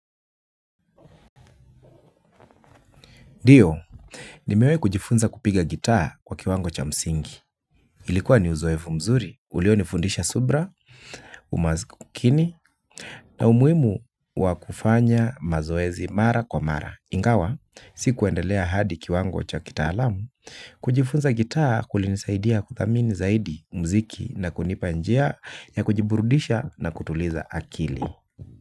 Ndio, nimewai kujifunza kupiga gitaa kwa kiwango cha msingi. Ilikuwa ni uzoefu mzuri, ulionifundisha subra, umakini, na umuhimu wa kufanya mazoezi mara kwa mara. Ingawa, sikuendelea hadi kiwango cha kitaalamu, kujifunza gitaa kulinisaidia kuthamini zaidi mziki na kunipa njia ya kujiburudisha na kutuliza akili.